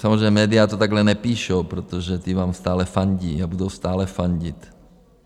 Samozřejmě média to takhle nepíšou, protože ta vám stále fandí a budou stále fandit.